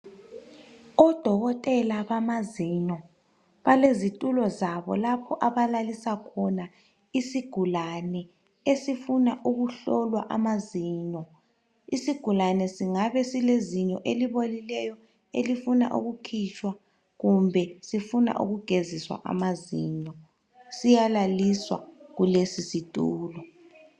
Odokotela bamazinyo. Balezitulo zabo lapho abalalisa khona isigulane esifuna ukuhlolwa amazinyo. Isigulane singabe silezinyo elibolileyo elifuna ukukhitshwa kumbe sifuna ukugeziswa amazinyo. Siyalalisa kulesisitulo.